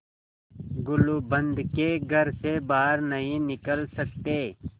गुलूबंद के घर से बाहर नहीं निकल सकते